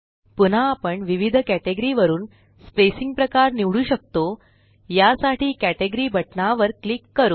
पुन्हा आपण विविध कटेगरी वरुन स्पेसिंग प्रकार निवडू शकतो यासाठी कॅटेगरी बटना वर क्लिक करू